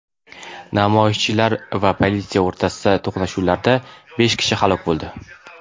Namoyishchilar va politsiya o‘rtasidagi to‘qnashuvlarda besh kishi halok bo‘ldi.